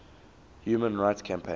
human rights campaign